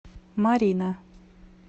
марина